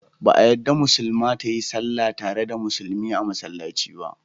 Ba a yadda Musulma ta yi sall tare da Musulmi a Massallaci ba.